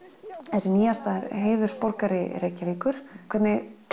þessi nýjasta er heiðursborgari Reykjavíkur hvernig